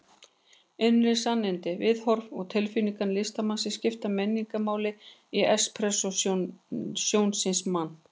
Innri sannindi, viðhorf og tilfinningar listamannsins skipta meginmáli í expressjónisma.